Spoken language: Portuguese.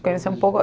conhecia um pouco.